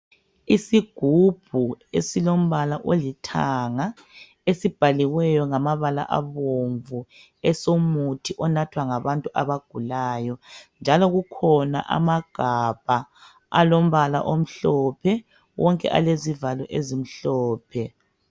Isigubhu esilombala olithanga esibhaliweyo ngamabala abomvu esomuthi onathwa ngabantu abagulayo, njalo kukhona amagabha alombala omhlophe wonke alezivalo ezimhlophe.